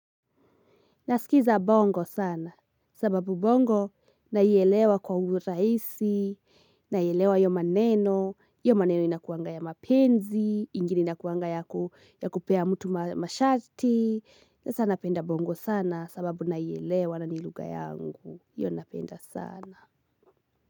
Naskiza bongo sana, sababu bongo naielewa kwa urahisi, naielewa hiyo maneno, hiyomaneno inakuanga ya mapenzi, ingine inakuanga ya kupea mtu masharti, sasa napenda bongo sana, sababu naielewa na ni lugha yangu, hiyo napenda sana.